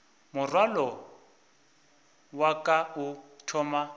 morwalo wa ka o thoma